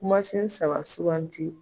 Kumasen saba suuganti